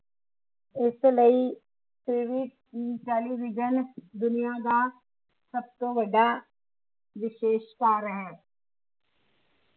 ਇਸ ਲਈ ਟੇਲੀਵਿਜਨ ਦੁਨੀਆਂ ਦਾ ਸਭਤੋਂ ਵੱਡਾ ਵਿਸ਼ੇਸ਼ਕਾਰ ਹੈ